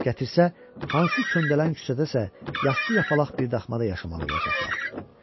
Gətirsə, hansı köndələn küçədə isə yastı yapaq birdamda yaşamalı olacaqlar.